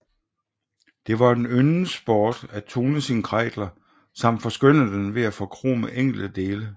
Det var en yndet sport at tune sin Kreidler samt forskønne den ved at forkrome enkelte dele